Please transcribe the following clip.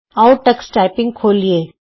ਆਉ Tux typing ਖੋਲੀਏ